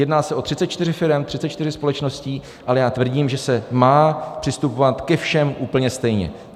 Jedná se o 34 firem, 34 společností, ale já tvrdím, že se má přistupovat ke všem úplně stejně.